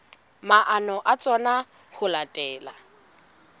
maano a tsona ho latela